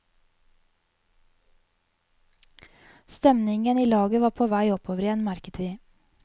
Stemningen i laget var på vei oppover igjen, merket vi.